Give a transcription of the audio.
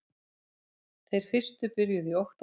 Þeir fyrstu byrjuðu í október